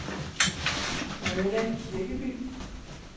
Mona Kirkeby